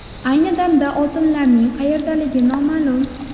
Ayni damda oltinlarning qayerdaligi noma’lum.